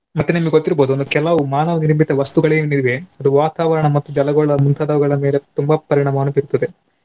ಮತ್ತೆ ನಿಮಗೆ ಗೊತ್ತಿರ್ಬೋದು ಒಂದು ಕೆಲವು ಮಾನವ ನಿರ್ಮಿತ ವಸ್ತುಗಳೇನಿವೆ ಅದು ವಾತಾವರಣ ಮತ್ತು ಜಲಗಳ ಮುಂತಾದುವುಗಳ ಮೇಲೆ ತುಂಬಾ ಪರಿಣಾಮವನ್ನು ಬೀರ್ತದೆ.